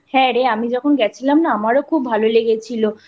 হ্যাঁ রে আমি যখন গিয়েছিলাম আমারও শুনতে খুব ভালো লেগেছিলো।